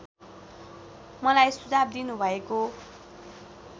मलाई सुझाव दिनुभएको